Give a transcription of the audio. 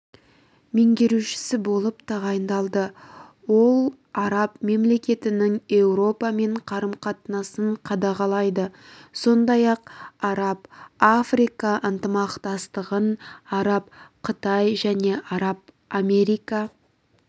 меңгерушісі болып тағайындалды ол араб мемлекеттерінің еуропамен қарым-қатынастарын қадағалайды сондай-ақ араб-африка ынтымақтастығын араб-қытай және араб-америка